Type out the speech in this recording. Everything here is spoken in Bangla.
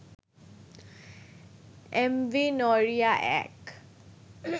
এমভি নড়িয়া-১